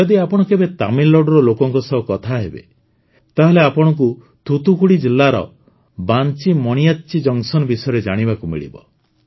ଯଦି ଆପଣ କେବେ ତାମିଲନାଡ଼ୁର ଲୋକଙ୍କ ସହ କଥା ହେବେ ତାହେଲେ ଆପଣଙ୍କୁ ଥୁଥୁକୁଡ଼ି ଜିଲ୍ଲାର ବାଂଚି ମଣିୟାଚ୍ଚି ଜଙ୍କସନ ବିଷୟରେ ଜାଣିବାକୁ ମିଳିବ